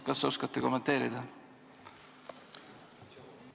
Kas oskate kommenteerida?